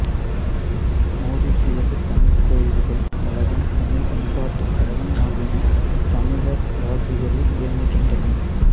மொரிசியசு தமிழ்க் கோயில்கள் கழகம் தமிழ்ப் பண்பாட்டுக் கழகம் ஆகியன தமிழர் வாழ்வியலில் இயங்குகின்றன